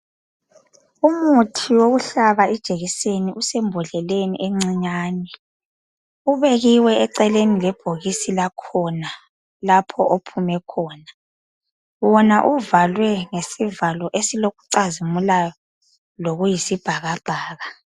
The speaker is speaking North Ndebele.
Umuthi wokuhlaba ijekiseni usembodleleni encinyane ubekiwe eceleni lebhokisi lakhona lapho ophume khona wona uvalwe ngesivalo esilokucazimulayo lokuyisibhakabhaka